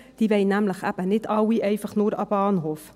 diese wollen nämlich nicht alle einfach nur an den Bahnhof.